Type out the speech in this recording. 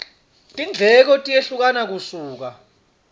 tindleko tiyehlukana kusuka